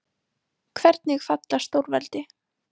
Hvernig falla stórveldi?